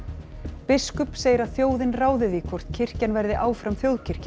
biskup segir að þjóðin ráði því hvort kirkjan verði áfram þjóðkirkja